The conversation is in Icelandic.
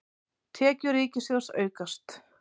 Tekjur ríkissjóðs aukast